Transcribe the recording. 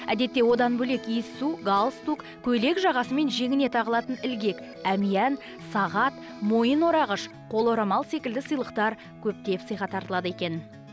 әдетте одан бөлек иіссу галстук көйлек жағасы мен жеңіне тағылатын ілгек әмиян сағат мойын орағыш қол орамал секілді сыйлықтар көптеп сыйға тартылады екен